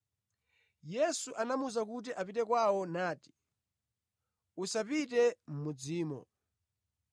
Yesu anamuwuza kuti apite kwawo nati, “Usapite mʼmudzimo.”